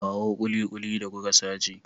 Kawo kulikuli da kuka sace.